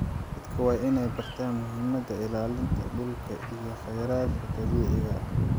Dadka waa in ay bartaan muhiimada ilaalinta dhulka iyo kheyraadka dabiiciga ah.